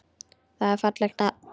Það er fallegt nafn.